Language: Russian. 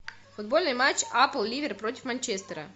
футбольный матч апл ливер против манчестера